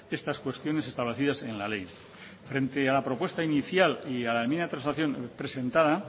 estas cuestiones establecidas en la ley frente a la propuesta inicial y a la enmienda de transacción presentada